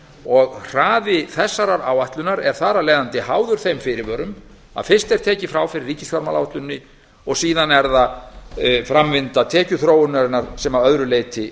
og hraði þessarar áætlunar er þar af leiðandi háður þeim fyrirvörum að fyrst er tekið frá fyrir ríkisfjármálaáætluninni og síðan er það framvinda tekjuþróunarinnar sem að öðru leyti